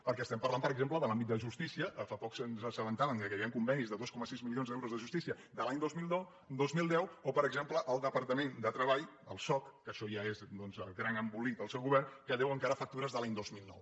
perquè estem parlant per exemple de l’àmbit de justícia fa poc ens assabentàvem que hi havien convenis de dos coma sis milions d’euros de justícia de l’any dos mil deu o per exem·ple el departament de treball el soc que això ja és doncs el gran embolic del seu govern que deu encara factures de l’any dos mil nou